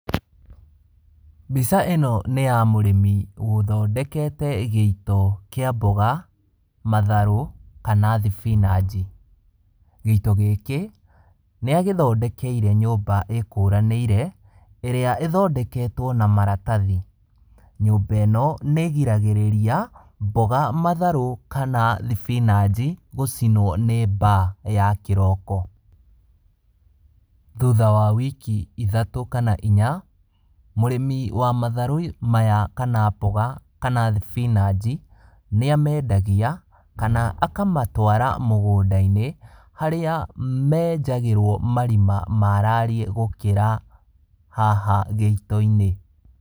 Mbica ĩno nĩ ya mũrĩmi ũthondekete gĩito kĩa mboga, matharũ kana thibinaji. Gĩito gĩkĩ nĩagĩthondekeire nyũmba ĩkũranĩire, ĩrĩa ĩthondeketwo na maratathi. Nyũmba ĩno nĩgiragĩrĩria mboga, matharũ kana thibinaji gũcinwo nĩ mbaa ya kĩroko. Thutha wa wiki ithatũ kana inya, mũrĩmi wa matharũ maya kana mboga, kana thibinaji, nĩamendagia kana akamatwara mũgũnda-inĩ, harĩa menjagĩrwo marima maarariĩ gũkĩra haha gĩito-inĩ.